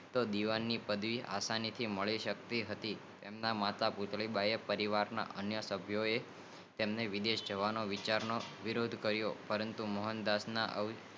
દીવાન ની પાડવી આસાનીથી મળી શક્તિ હતી એમના માતા પૂતળી બાઈ એ અને પરિવાર ના અન્ય સાભિયો એ વિરોદ કરીઓ